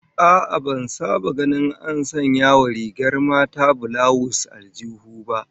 A'a, ban saba ganin an sanya wa rigar mata bulawus aljihu ba